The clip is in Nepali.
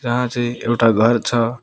जहाँ चाहिँ एउटा घर छ।